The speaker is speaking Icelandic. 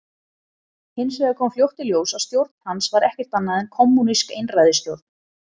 Hins vegar kom fljótt í ljós að stjórn hans var ekkert annað en kommúnísk einræðisstjórn.